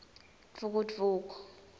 dvukudvuku